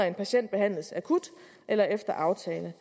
en patient behandles akut eller efter aftale